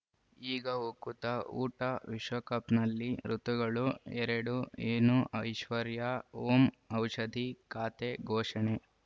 ಈಗ ಉಕುತ ಊಟ ವಿಶ್ವಕಪ್‌ನಲ್ಲಿ ಋತುಗಳು ಎರಡು ಏನು ಐಶ್ವರ್ಯಾ ಓಂ ಔಷಧಿ ಖಾತೆ ಘೋಷಣೆ